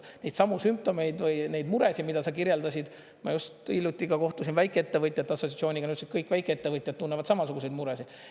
Neidsamu sümptomeid või neid muresid, mida sa kirjeldasid, ma just hiljuti kohtusin väikeettevõtjate assotsiatsiooniga, nad ütlesid, et kõik väikeettevõtjad tunnevad samasuguseid muresid.